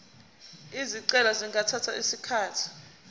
izicelo zingathatha isikhathi